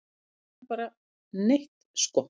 Við sjáum bara neitt sko.